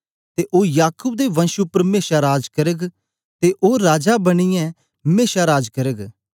ते ओ याकूब दे वंश उपर मेशा राज करग ते ओ राजा बनियै मेशा राज करग